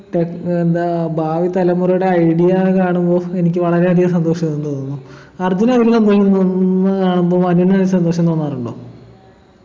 tech ഏർ എന്താ ഭാവി തലമുറയുടെ idea കാണുമ്പൊ എനിക്ക് വളരെയധികം സന്തോഷം തോന്നുന്നു അർജുന് കാണുമ്പൊ മനുവിനയില് സന്തോഷം തോന്നാറുണ്ടോ